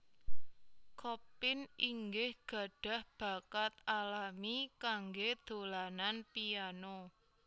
Chopin inggih gadhah bakat alami kanggé dolanan piano